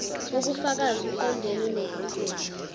wobufakazi uqondene nokuveza